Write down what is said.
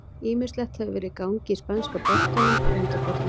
Ýmislegt hefur verið í gangi í spænska boltanum að undanförnu.